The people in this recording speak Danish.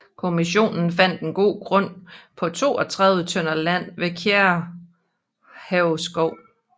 Kommissionen fandt en god grund på 32 tønder land ved Kærehave Skov